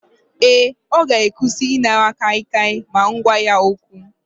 Ee, ọ ga-akwụsị ịnara kaikai ma m gwa ya okwu